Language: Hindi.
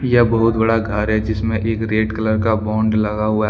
यह बहुत बड़ा घर है जिसमें एक रेड कलर का बॉन्ड लगा हुआ है।